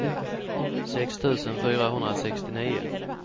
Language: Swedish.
sex tusen fyrahundrasextionio